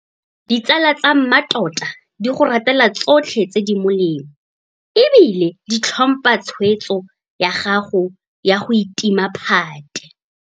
Ditsala tsa mmatota di go ratela tsotlhe tse di molemo e bile di tlhompha tshwetso ya gago ya go itima phate.